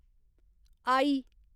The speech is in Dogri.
आई